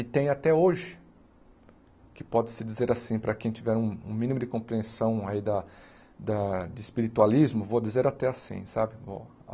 E tem até hoje, que pode-se dizer assim, para quem tiver um um mínimo de compreensão aí da da de espiritualismo, vou dizer até assim, sabe?